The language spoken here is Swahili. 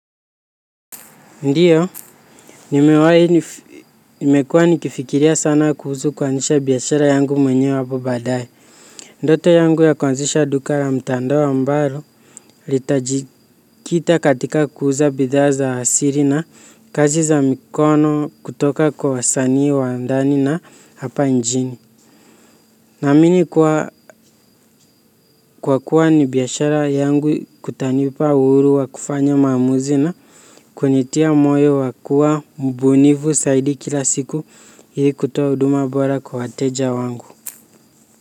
Ndiyo. Nimewai nimekuwa nikifikiria sana kuhusu kuanzisha biashara yangu mwenye hapo baadaye. Ndoto yangu ya kuanzisha duka la mtandao ambalo. Litajikita katika kuuza bidhaa za siri na kazi za mikono kutoka kwa wasanii wa ndani na hapa nchini. Naamini kuwa kwa kuwa ni biashara yangu kutanipa uhuru wa kufanya maamuzi na kunitia moyo wa kua mbunifu zaidi kila siku. Ili kutoa huduma bora kwa wateja wangu.